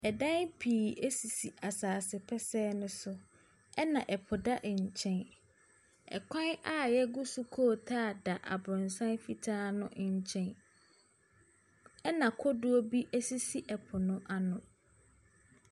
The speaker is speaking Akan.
Dan pii sisi asaase pɛsɛɛ ne so, na po da nkyɛn. Kwan a yɛgu so kootaa da abrɔsan ne nkyɛn na kodoɔ bi sisi po no ano.